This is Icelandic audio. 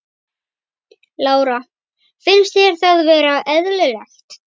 Lára: Finnst þér það vera eðlilegt?